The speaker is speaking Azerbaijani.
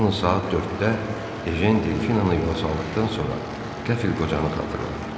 Yalnız saat 4-də Ejen Delfinanı yola saldıqdan sonra qəfil qocanı xatırladı.